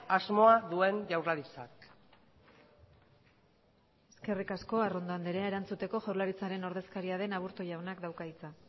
asmoa duen jaurlaritzak eskerrik asko arrondo andrea erantzuteko jaurlaritzaren ordezkaria den aburto jaunak dauka hitza